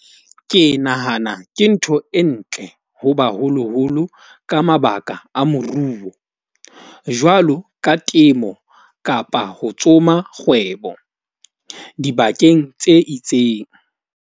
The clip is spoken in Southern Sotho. Ke nahana ke ntho e ntle ho baholoholo ka mabaka a moruo, jwalo ka temo kapa ho tsoma kgwebo dibakeng tse itseng.